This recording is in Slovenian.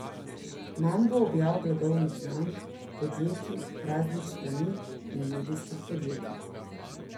Manj bo objav blagovnih znamk, podjetij, raznih strani in medijskih podjetij.